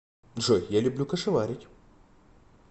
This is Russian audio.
джой я люблю кашеварить